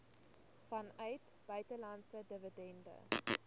vanuit buitelandse dividende